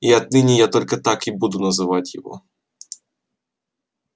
и отныне я только так и буду называть его